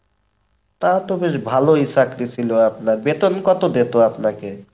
তা তো বেশ ভালোই চাকরি ছিল আপনার, বেতন কত দিতো আপনাকে?